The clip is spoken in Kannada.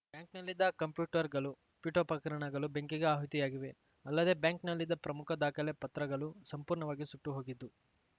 ಬ್ಯಾಂಕ್‌ನಲ್ಲಿದ್ದ ಕಂಪ್ಯೂಟರ್‌ಗಳು ಪೀಠೋಪಕರಣಗಳು ಬೆಂಕಿಗೆ ಆಹುತಿಯಾಗಿವೆ ಅಲ್ಲದೆ ಬ್ಯಾಂಕ್‌ನಲ್ಲಿದ್ದ ಪ್ರಮುಖ ದಾಖಲೆ ಪತ್ರಗಳು ಸಂಪೂರ್ಣವಾಗಿ ಸುಟ್ಟು ಹೋಗಿದ್ದು